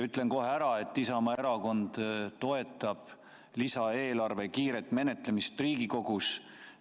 Ütlen kohe ära, et Isamaa Erakond toetab lisaeelarve kiiret menetlemist Riigikogus.